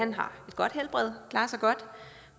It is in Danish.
han har et godt helbred og klarer sig godt